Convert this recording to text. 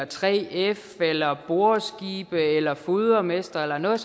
3f boreskibe eller fodermestre eller noget